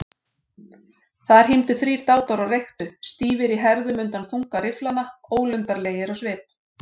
Þar hímdu þrír dátar og reyktu, stífir í herðum undan þunga rifflanna, ólundarlegir á svip.